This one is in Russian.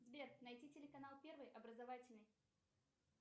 сбер найти телеканал первый образовательный